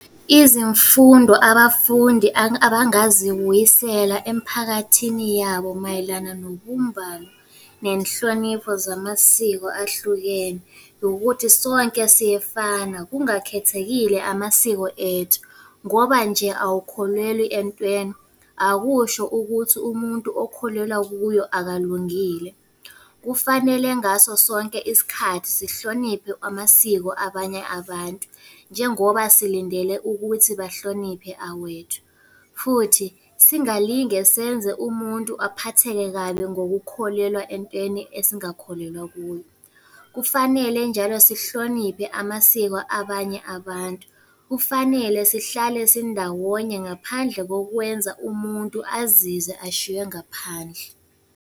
Izimfundo abafundi abangazibuyisela emphakathini yabo mayelana nobumbano nenhlonipho zamasiko ahlukene, ukuthi sonke siyefana kungakhethekile amasiko ethu. Ngoba nje awukholelwi entweni, akusho ukuthi umuntu okholelwa kuyo akalungile. Kufanele ngaso sonke isikhathi sihloniphe amasiko abanye abantu njengoba silindele ukuthi bahloniphe awethu. Futhi singalinge senze umuntu aphatheke kabi ngokukholelwa entweni esingakholelwa kuyo. Kufanele njalo sihloniphe amasiko abanye abantu, kufanele sihlale sindawonye ngaphandle kokwenza umuntu azizwe ashiywe ngaphandle.